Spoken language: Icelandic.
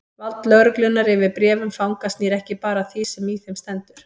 Vald lögreglunnar yfir bréfum fanga snýr ekki bara að því sem í þeim stendur.